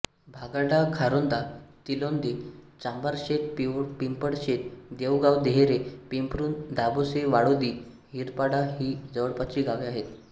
भागाडा खारोंदा तिलोंदे चांभारशेत पिंपळशेत देवगाव देहरे पिंपरुण दाभोसे वाडोळी हिरडपाडा ही जवळपासची गावे आहेत